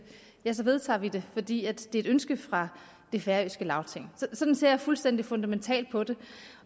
ja så medtager vi det fordi det er et ønske fra det færøske lagting sådan ser jeg fuldstændig fundamentalt på det